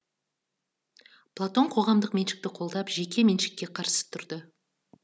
платон қоғамдық меншікті қолдап жеке меншікке қарсы тұрды